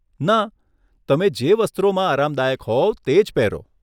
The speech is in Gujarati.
ના, તમે જે વસ્ત્રોમાં આરામદાયક હોવ તે જ પહેરો!